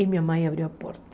E minha mãe abriu a porta.